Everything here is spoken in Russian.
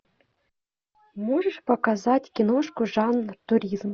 можешь показать киношку жанр туризм